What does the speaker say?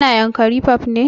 Ka na yanakri park ne?